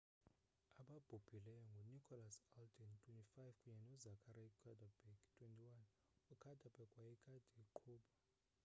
ababhubhileyo ngunicholas alden 25 kunye nozachary cuddeback 21 ucuddeback wayekade eqhuba